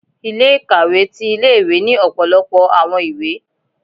Ilé-ikawé tí ìlé-ìwé ni ọpọlọpọ awọn ìwé